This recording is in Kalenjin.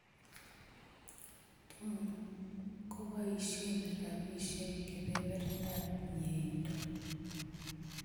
Tuun koboisyen rabisyeek kebebertab myeindo